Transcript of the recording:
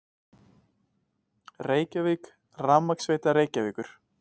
Reykjavík: Rafmagnsveita Reykjavíkur.